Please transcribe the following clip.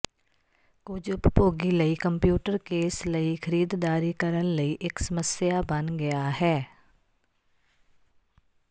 ਕੁਝ ਉਪਭੋਗੀ ਲਈ ਕੰਪਿਊਟਰ ਕੇਸ ਲਈ ਖਰੀਦਦਾਰੀ ਕਰਨ ਲਈ ਇੱਕ ਸਮੱਸਿਆ ਬਣ ਗਿਆ ਹੈ